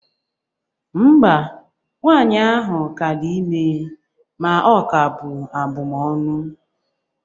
Mba, nwaanyị ahụ ka di ime ma ọ ka bu abụmọnụ